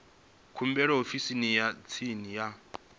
khumbelo ofisini ya tsini ya